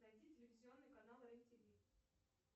найди телевизионный канал рен тв